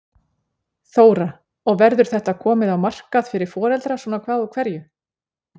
Þóra: Og verður þetta komið á markað fyrir foreldra svona hvað úr hverju?